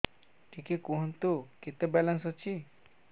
ଟିକେ କୁହନ୍ତୁ କେତେ ବାଲାନ୍ସ ଅଛି